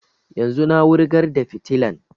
Yanzun na wurgar da fitilan